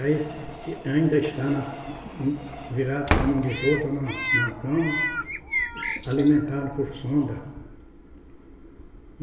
Aí ainda está na, hum, virada para a mão dos outros na na cama, alimentada por sonda.